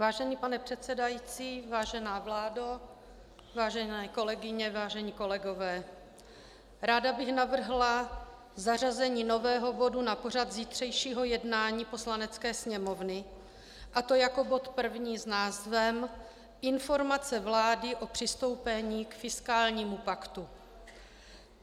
Vážený pane předsedající, vážená vláda, vážené kolegyně, vážení kolegové, ráda bych navrhla zařazení nového bodu na pořad zítřejšího jednání Poslanecké sněmovny, a to jako bod první s názvem Informace vlády o přistoupení k fiskálnímu paktu.